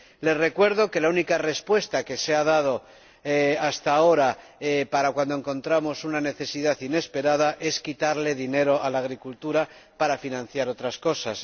Les recuerdo que la única respuesta que se ha dado hasta ahora para cuando encontramos una necesidad inesperada, es quitarle dinero a la agricultura para financiar otras cosas.